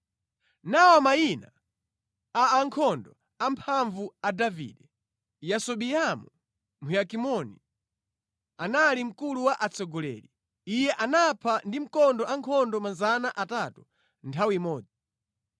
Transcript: Nawa mayina a ankhondo amphamvu a Davide: Yasobeamu Mhakimoni anali mkulu wa atsogoleri. Iye anapha ndi mkondo ankhondo 300 nthawi imodzi.